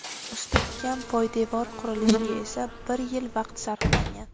Mustahkam poydevor qurilishiga esa bir yil vaqt sarflangan.